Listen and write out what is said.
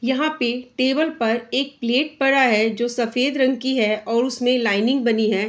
यहाँ पे टेबल पर एक प्लेट पड़ा है जो सफ़ेद रंग की है और उसमे लाइनिंग बनी है।